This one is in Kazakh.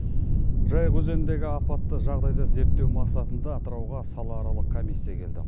жайық өзеніндегі апатты жағдайды зерттеу мақсатында атырауға салааралық комиссия келді